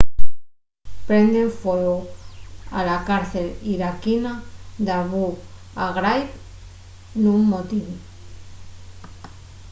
prenden fueu a la cárcel iraquina d'abu ghraib nun motín